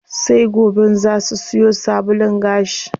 Sai goben zaa su siyo sabulun gashi.